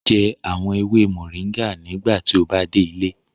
Jẹ awon ewe moringa nigbati o ba de ile